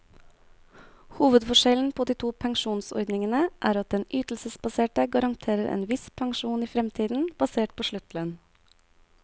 Hovedforskjellen på de to pensjonsordningene er at den ytelsesbaserte garanterer en viss pensjon i fremtiden, basert på sluttlønn.